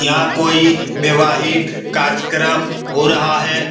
यहाँ कोई वैवाहिक कार्यकर्म हो रहा है।